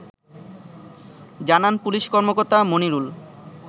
জানান পুলিশ কর্মকর্তা মনিরুল